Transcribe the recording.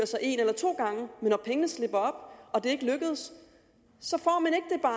sig en eller to gange men når pengene slipper og det ikke lykkedes